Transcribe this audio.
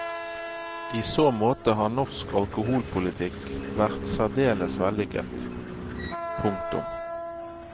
I så måte har norsk alkoholpolitikk vært særdeles vellykket. punktum